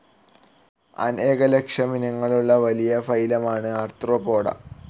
അനേക ലക്ഷം ഇനങ്ങളുള്ള വലിയ ഫൈലമാണ് ആർത്രോപോഡാ.